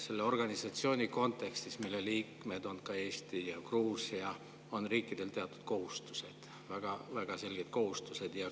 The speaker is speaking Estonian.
Selles organisatsioonis, mille liikmed on ka Eesti ja Gruusia, on riikidel teatud kohustused, väga-väga selged kohustused.